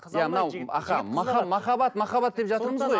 иә мынау аха махаббат махаббат деп жатырмыз ғой